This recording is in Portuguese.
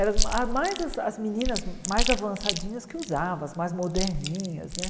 Eram as mais as meninas mais avançadinhas que usavam, as mais moderninhas, né?